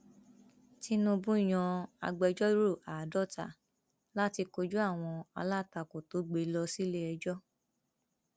tinúbú yan agbẹjọrò àádọ́ta láti kojú àwọn alátakò tó gbé e lọ síléẹjọ